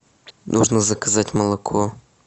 нужно заказать молоко